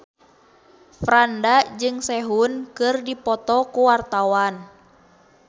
Franda jeung Sehun keur dipoto ku wartawan